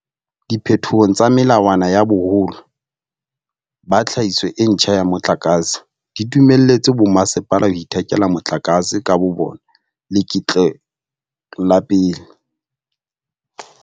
Diphetoho tsa melawana ya boholo ba tlhahiso e ntjha ya motlakase di dumelletse bommasepala ho ithekela motlakase ka bobona leketlo la pele.